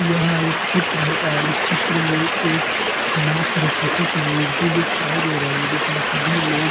यहाँ एक चित्र है और इस् चित्र में एक माँ सरस्वती की मूर्ति दिखाई दे रही है जिसमें सभी लोग --